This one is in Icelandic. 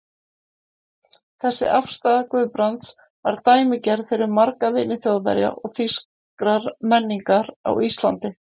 Þessi afstaða Guðbrands var dæmigerð fyrir marga vini Þjóðverja og þýskrar menningar á Íslandi.